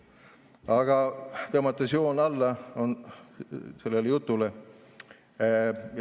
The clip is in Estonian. Aga tõmban nüüd joone alla sellele jutule.